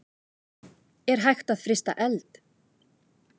Er hægt að frysta eld?